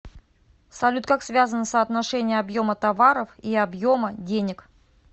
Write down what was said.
салют как связано соотношение объема товаров и объема денег